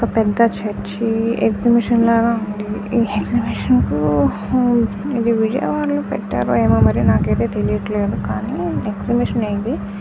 పెద్ద చర్చి ఎక్సిబిషన్లై ల ఉంది ఏ ఎక్సిబిషన్ కు ఇది విజయవాడ లో పెట్టరేమో నాకైతే తెలియట్లేదు కానీ ఎక్సిబిషనే ఇది--